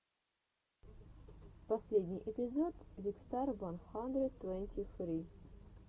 последний эпизод викстар ван хандрид твенти фри